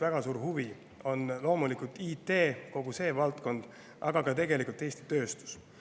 Väga suur huvi on loomulikult IT, kogu selle valdkonna, aga tegelikult ka Eesti tööstuse vastu.